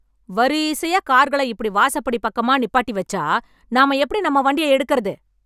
வரீசையா கார்கள, இப்டி வாசப்படி பக்கமா நிப்பாட்டி வெச்சா, நாம எப்டி நம்ம வண்டிய எடுக்கறது...